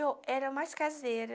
Eu era mais caseira.